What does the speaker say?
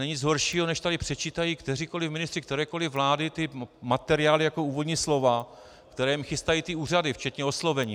Není nic horšího, než tady předčítají kteříkoliv ministři kterékoliv vlády ty materiály jako úvodní slova, které jim chystají ty úřady včetně oslovení.